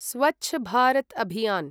Swachh Bharat Abhiyan